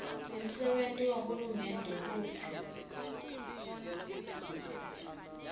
nemsebenti wahulumende kutsi